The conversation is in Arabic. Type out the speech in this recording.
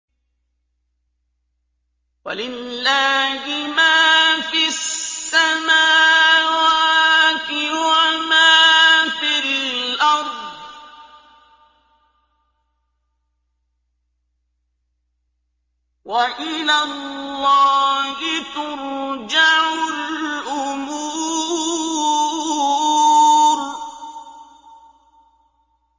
وَلِلَّهِ مَا فِي السَّمَاوَاتِ وَمَا فِي الْأَرْضِ ۚ وَإِلَى اللَّهِ تُرْجَعُ الْأُمُورُ